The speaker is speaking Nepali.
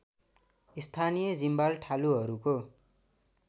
स्थानीय जिम्वाल ठालुहरूको